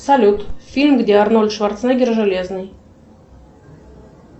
салют фильм где арнольд шварценеггер железный